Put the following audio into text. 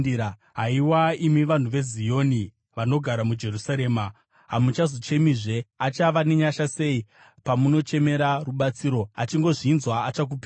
Haiwa imi vanhu veZioni, vanogara muJerusarema, hamuchazochemizve. Achava nenyasha sei pamunochemera rubatsiro! Achingozvinzwa, achakupindurai.